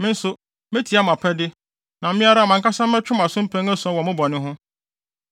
me nso, metia mo apɛde, na me ara mʼankasa mɛtwe mo aso mpɛn ason wɔ mo bɔne ho.